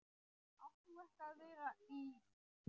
Átt þú ekki að vera í.-?